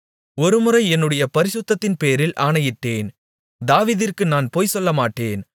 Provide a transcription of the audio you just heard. ஒருமுறை என்னுடைய பரிசுத்தத்தின்பேரில் ஆணையிட்டேன் தாவீதிற்கு நான் பொய்சொல்லமாட்டேன்